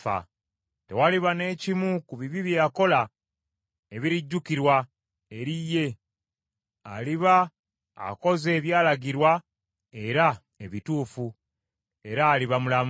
Tewaliba ne kimu ku bibi bye yakola ebirijjukirwa eri ye; aliba akoze ebyalagirwa era ebituufu, era aliba mulamu.